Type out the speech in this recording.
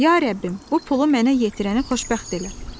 Ya Rəbbim, bu pulu mənə yetirəni xoşbəxt elə."